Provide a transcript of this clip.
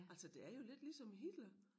Altså det er jo lidt ligesom Hitler